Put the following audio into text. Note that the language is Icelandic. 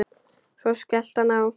Svo skellti hann á.